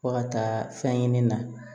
Fɔ ka taa fɛn ɲini na